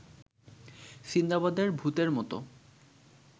সিন্দাবাদের ভূতের মতো